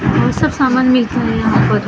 और सब सामान मिलता है यहाँ पर ।